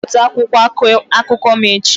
Bipụta akwụkwọ akụkọ m echi!